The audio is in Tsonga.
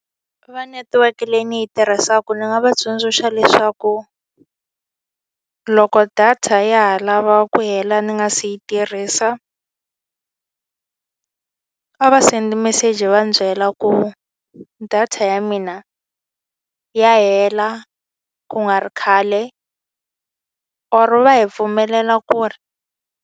Va netiweke leyi ni yi tirhisaka ndzi nga va tsundzuxa leswaku, loko data ya ha lava ku hela ni nga si yi tirhisa a va send-i message va ni byela ku data ya mina ya hela ku nga ri khale or va hi pfumelela ku ri.